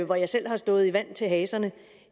hvor jeg selv har stået i vand til haserne